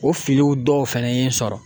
O filiw dɔw fɛnɛ ye n sɔrɔ.